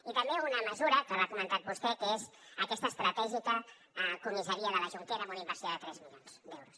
i també una mesura que l’ha comentat vostè que és aquesta estratègica comissaria de la jonquera amb una inversió de tres milions d’euros